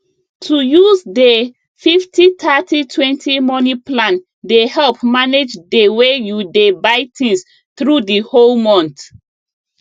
to use dey 503020 money plan dey help manage dey way you dey buy things through d whole month